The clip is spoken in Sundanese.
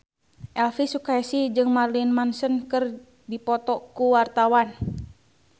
Elvy Sukaesih jeung Marilyn Manson keur dipoto ku wartawan